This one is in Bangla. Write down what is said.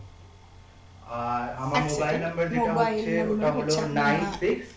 আর আমার mobile number যেটা হচ্ছে ওটা হলো nine six